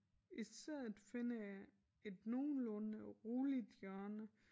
I stedet finder jeg et nogenlunde roligt hjørne